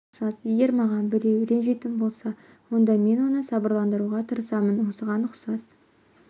осыған ұқсас осыған ұқсас егер маған біреу ренжитін болса онда мен оны сабырландыруға тырысамын осыған ұқсас